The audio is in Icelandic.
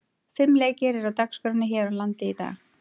Fimm leikir eru á dagskránni hér á landi í dag.